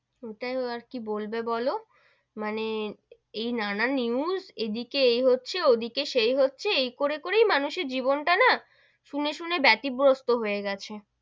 ওটাই আর কি বলবে বোলো, মানে এই নানান news এদিকে এই হচ্ছে, ওদিকে সেই হচ্ছে, এই করে করে মানুষের জীবন টা না শুনে শুনে বেইতিবস্তু হয়ে গেছে,